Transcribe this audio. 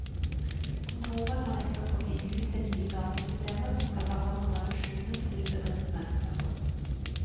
Kontoret har nettopp fått i hus det nye datasystemet som skal ta hånd om refusjonen til bedriftene. punktum